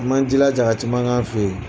A m'an jilaja ka caman k'an fɛ yen.